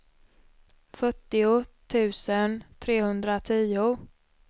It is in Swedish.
fyrtio tusen trehundratio